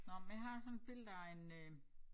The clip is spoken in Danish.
Nåh men jeg har sådan et billede af en øh